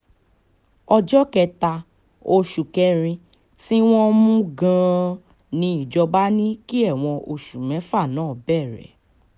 ọjọ́ kẹta oṣù kẹrin tí wọ́n mú-un gan-an ni adájọ́ ní kí ẹ̀wọ̀n oṣù mẹ́fà náà bẹ̀rẹ̀